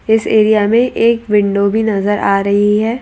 इस एरिया में एक विंडो भी नजर आ रही है।